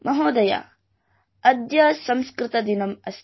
महोदय अद्य संस्कृतदिनमस्ति